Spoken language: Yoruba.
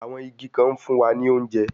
Àwọn igi kan ń fún wa ní oúnjẹ